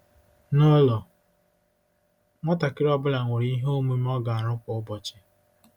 Nụlọ, nwatakịrị ọ bụla nwere ihe omume ọ ga-arụ kwa ụbọchị.